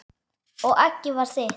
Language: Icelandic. Og eggið var þitt!